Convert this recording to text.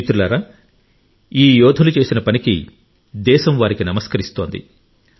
మిత్రులారా ఈ యోధులు చేసిన పనికి దేశం వారికి నమస్కరిస్తుంది